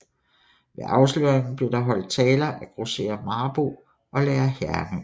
Ved afsløringen blev der hold taler af grosserer Marboe og lærer Hernø